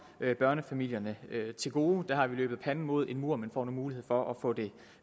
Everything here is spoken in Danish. børnefamilierne til gode der har vi løbet panden mod en mur men får nu en mulighed for at få det